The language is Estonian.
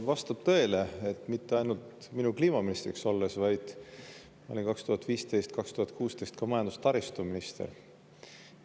Vastab tõele, et mitte ainult minu kliimaministriks olles, vaid ma olin 2015–2016 ka majandus‑ ja taristuminister.